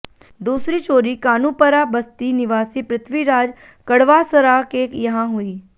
दूसरी चोरी कानुपरा बस्ती निवासी पृथ्वीराज कड़वासरा के यहां हुई